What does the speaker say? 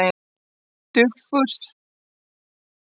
Dufgus, hvað er á dagatalinu mínu í dag?